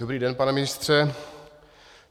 Dobrý den, pane ministře.